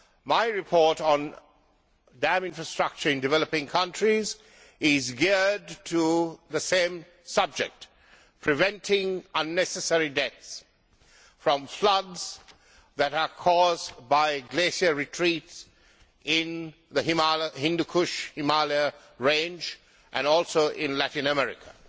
My report on dam infrastructures in developing countries is geared to the same subject preventing unnecessary deaths from floods that are caused by glacier retreats in the Hindu Kush Himalayan range and also in Latin America.